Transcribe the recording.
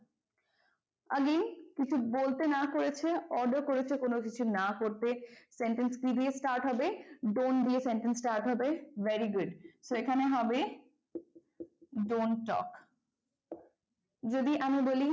again কিছু বলতে না করেছে order করেছে কোন কিছু না করতে sentence কি দিয়ে start হবে? don't দিয়ে sentence start হবে। very good so এখানে হবে don't talk যদি আমরা বলি,